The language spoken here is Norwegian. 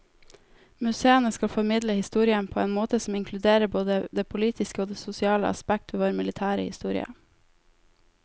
Museene skal formidle historien på en måte som inkluderer både det politiske og det sosiale aspekt ved vår militære historie.